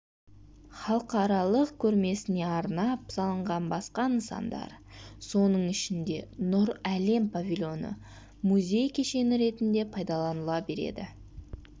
халықаралық көрмесіне арнап салынған басқа нысандар соның ішінде нұр әлем павильоны музей кешені ретінде пайдаланыла береді